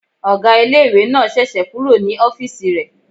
Ọgá ilé-ìwé náà sẹ̀sẹ̀ kúrò ní ọ́fìsì rẹ̀